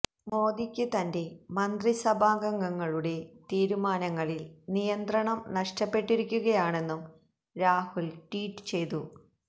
മോദിക്ക് തന്റെ മന്ത്രിസഭാംഗങ്ങളുടെ തീരുമാനങ്ങളില് നിയന്ത്രണം നഷ്ടപ്പെട്ടിരിക്കുകയാണെന്നും രാഹുല് ട്വീറ്റ് ചെയ്തു